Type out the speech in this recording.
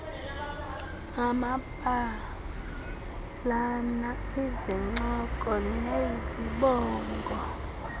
amabalana izincoko nezibongo